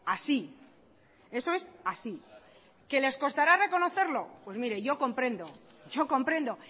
así eso es así que les costara reconocerlo pues mire yo comprendo yo comprendo